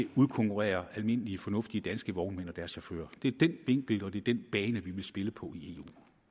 udkonkurrerer almindelige fornuftige danske vognmænd og deres chauffører det er den vinkel og det er den bane vi vil spille på i